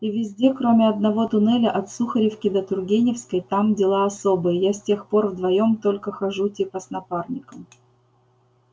и везде кроме одного туннеля от сухаревки до тургеневской там дела особые я с тех пор вдвоём только хожу типа с напарником